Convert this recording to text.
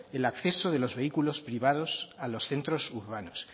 el acceso de los vehículos privados a los centros urbanos